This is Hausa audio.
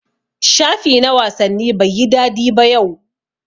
shafi na wasanni Bai yi dadi yau ba.